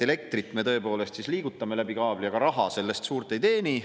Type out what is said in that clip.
Elektrit me tõepoolest liigutame läbi kaabli, aga raha sellest suurt ei teeni.